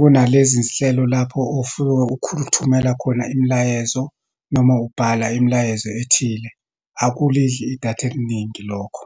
kunalezi zinhlelo lapho ofike uthumela khona imilayezo, noma ubhala imilayezo ethile, akulidli idatha eliningi lokho.